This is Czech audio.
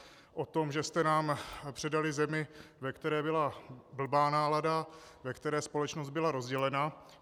O tom, že jste nám předali zemi, ve které byla blbá nálada, ve které společnost byla rozdělena.